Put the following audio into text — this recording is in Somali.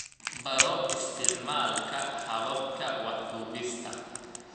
Baro isticmaalka hababka wax duubista.